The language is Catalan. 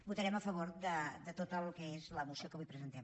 votarem a favor de tot el que és la moció que avui presentem